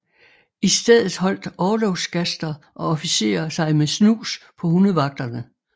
I stedet holdt orlogsgaster og officerer sig med snus på hundevagterne